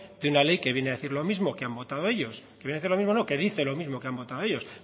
de una ley que viene a decir lo mismo que han votado ello que viene a decir lo mismo no que dice lo mismo que han votado ellos